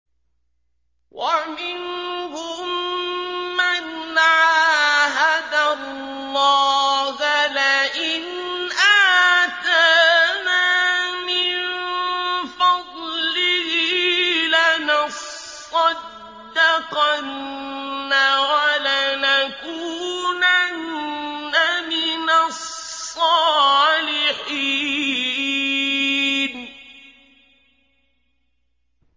۞ وَمِنْهُم مَّنْ عَاهَدَ اللَّهَ لَئِنْ آتَانَا مِن فَضْلِهِ لَنَصَّدَّقَنَّ وَلَنَكُونَنَّ مِنَ الصَّالِحِينَ